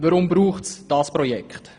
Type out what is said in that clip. Weshalb braucht es dieses Projekt?